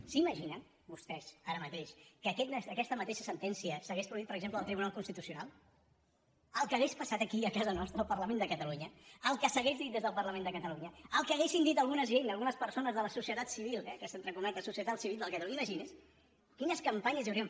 s’imaginen vostès ara mateix que aquesta mateixa sentència s’hagués produït per exemple al tribunal constitucional el que hauria passat aquí a casa nostra al parlament de catalunya el que s’hauria dit des del parlament de catalunya el que haurien dit alguna gent algunes persones de la societat civil eh aquesta entre cometes societat civil de catalunya imagini’s quines campanyes hi haurien